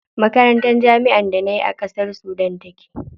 Makarantar jami'ar da nayi a ƙasar Sudan take.